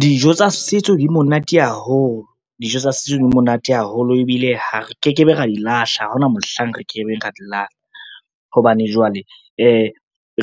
Dijo tsa setso di monate haholo. Dijo tsa setso di monate haholo ebile ha re ke ke be ra di lahla, ha hona mohlang re ke ke be ra di lahla hobane jwale,